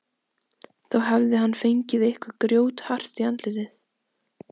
Þá hafði hann fengið eitthvað grjóthart í andlitið.